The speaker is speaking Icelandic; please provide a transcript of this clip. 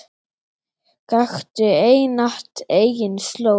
Gakktu einatt eigin slóð.